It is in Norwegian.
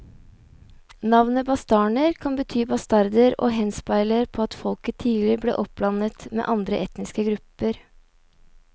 Navnet bastarner kan bety bastarder og henspeiler på at folket tidlig ble oppblandet med andre etniske grupper.